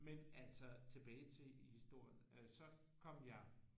Men altså tilbage til i historien så kom jeg